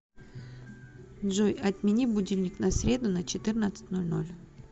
джой отмени будильник на среду на четырнадцать ноль ноль